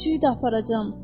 Pişiyi də aparacam.